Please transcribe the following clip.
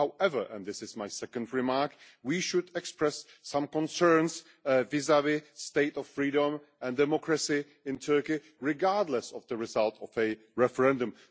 However and this is my second remark we should express some concerns vis vis the state of freedom and democracy in Turkey, regardless of the results of the referendum.